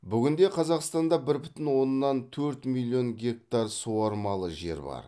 бүгінде қазақстанда бір бүтін оннан төрт миллион гектар суармалы жер бар